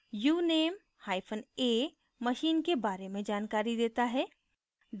uname hyphen a machine के बारे में जानकारी देता है